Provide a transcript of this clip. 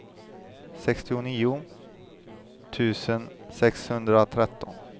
sextionio tusen sexhundratretton